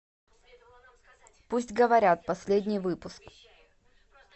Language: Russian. пусть говорят последний выпуск